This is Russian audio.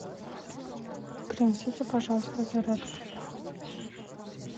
принесите пожалуйста зарядку